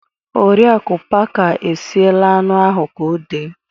Oriaku parker esiela anụ ahụ ka ọ dee